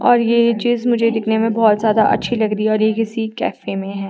और ये चीज मुझे दिखने मे बहोत ज्यादा अच्छी लग री है और ये किसी कैफ में है।